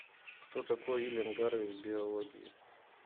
кто такой уильям гарвей в биологии